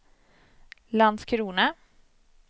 Landskrona